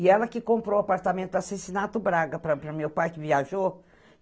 E ela que comprou o apartamento do Braga para o meu pai, que viajou.